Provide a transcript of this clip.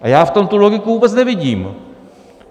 A já v tom tu logiku vůbec nevidím.